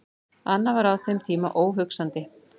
Annað var á þeim tíma óhugsandi.